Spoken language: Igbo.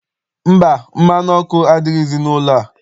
Mba, mmanụ ọkụ adighịzi n'ụlọ a.